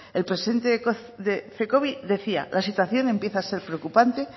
el presidente de cecobi decía la situación empieza a ser preocupante